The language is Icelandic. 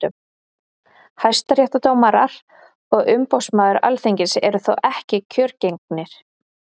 hæstaréttardómarar og umboðsmaður alþingis eru þó ekki kjörgengir